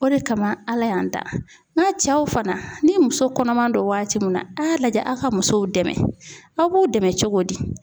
O de kama Ala y'an da n'a cɛw fana ni muso kɔnɔman don waati mun na a y'a lajɛ aw ka musow dɛmɛ aw b'u dɛmɛ cogo di